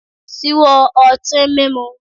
Ṣíwọ́ ọtín mímu.